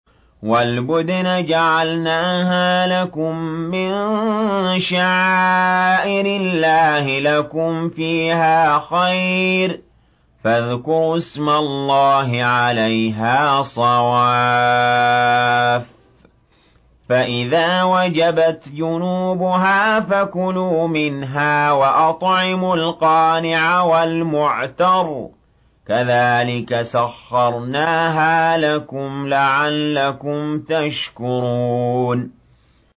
وَالْبُدْنَ جَعَلْنَاهَا لَكُم مِّن شَعَائِرِ اللَّهِ لَكُمْ فِيهَا خَيْرٌ ۖ فَاذْكُرُوا اسْمَ اللَّهِ عَلَيْهَا صَوَافَّ ۖ فَإِذَا وَجَبَتْ جُنُوبُهَا فَكُلُوا مِنْهَا وَأَطْعِمُوا الْقَانِعَ وَالْمُعْتَرَّ ۚ كَذَٰلِكَ سَخَّرْنَاهَا لَكُمْ لَعَلَّكُمْ تَشْكُرُونَ